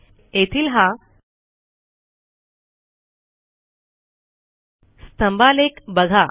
येथील हा स्तंभालेख बघा